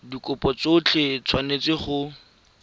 dikopo tsotlhe di tshwanetse go